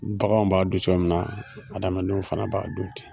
Baganw b'a dun cogo min na, adamadenw fana b'a du ten.